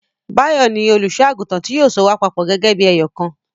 Báyọ̀ ni olùṣọ́-àgùntàn tí yóò so wọ́n papọ̀ gẹ́gẹ́ bí ẹyọ̀kan.